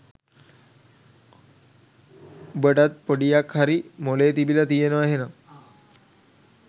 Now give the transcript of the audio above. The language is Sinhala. උඹටත් පොඩියක් හරි මොළේ තිබිල තියෙනව එහෙනම්